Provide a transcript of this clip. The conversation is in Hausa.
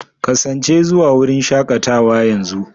Kasance zuwa wurin shakatawa yanzu!